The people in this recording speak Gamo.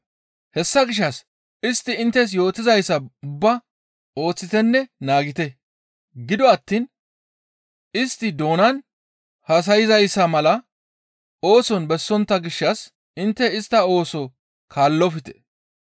Hessa gishshas istti inttes yootizayssa ubbaa ooththitenne naagite; gido attiin istti doonan haasayzayssa mala ooson bessontta gishshas intte istta ooso kaallofte.